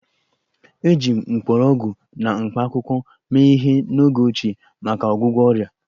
Eji mgbọrọgwụ na mkpakwụkwọ mee ihe n'oge ochie maka ọgwụgwọ ọrịa